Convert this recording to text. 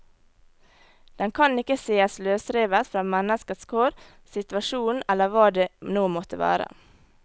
Den kan ikke sees løsrevet fra menneskets kår, situasjonen eller hva det nå måtte være.